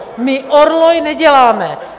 My orloj neděláme.